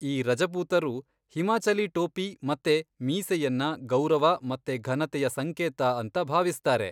ಈ ರಜಪೂತರು ಹಿಮಾಚಲೀ ಟೋಪಿ ಮತ್ತೆ ಮೀಸೆಯನ್ನ ಗೌರವ ಮತ್ತೆ ಘನತೆಯ ಸಂಕೇತ ಅಂತ ಭಾವಿಸ್ತಾರೆ.